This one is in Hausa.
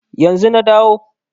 Yanzu na dawo